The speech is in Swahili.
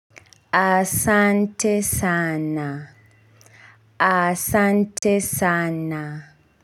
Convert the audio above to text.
Asante sana. Asante sana.